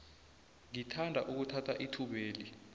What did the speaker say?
ngithanda ukuthatha ithubeli